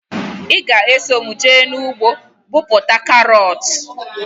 Ị ga eso mụ jee ugbo bọpụta karọt?